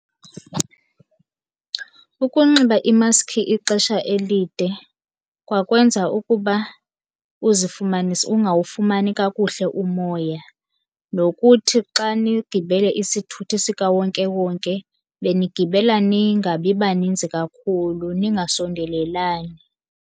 Ukunxiba imaski ixesha elide kwakwenza ukuba uzifumanise ungawufumani kakuhle umoya. Nokuthi xa nigibele isithuthi sikawonkewonke benigibela ningabi baninzi kakhulu, ningasondelelani.